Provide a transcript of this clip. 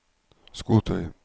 skotøy